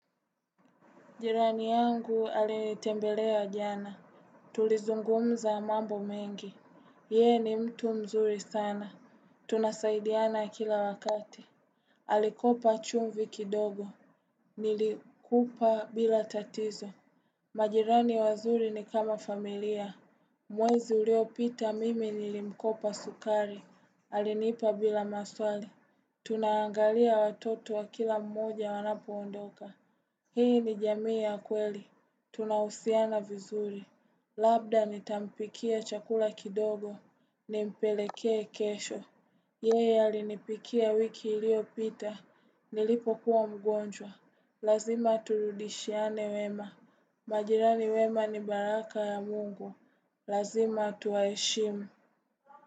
Jirani yangu alinitembelea jana. Tulizungumza mambo mengi. Yeye ni mtu mzuri sana. Tunasaidiana kila wakati. Alikopa chumvi kidogo. Nilikupa bila tatizo. Majirani wazuri ni kama familia. Mwezi uliopita mimi nilimkopa sukari. Alinipa bila maswali. Tunaangalia watoto wa kila mmoja wanapo ondoka. Hii ni jamii ya kweli. Tunahusiana vizuri. Labda nitampikia chakula kidogo. Nimpelekee kesho. Yeye alinipikia wiki iliopita. Nilipo kuwa mgonjwa. Lazima turudishiane wema. Majirani wema ni baraka ya mungu. Lazima tuwaheshimu.